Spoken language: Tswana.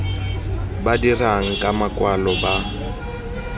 ba dirang ka makwalo ba